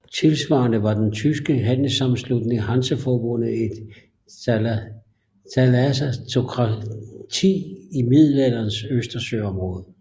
Tilsvarende var den tyske handelssammenslutning Hanseforbundet et thalassokrati i Middelalderens østersøområde